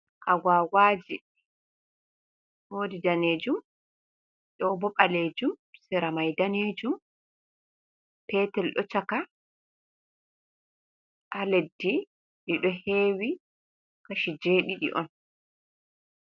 Agwgwaji, wodi danejum, ɗo bo ɓalejum, se ra mai danejum, petel ɗo chaka ha leddi. Ɗi ɗo hewi, kashi je ɗiɗi on.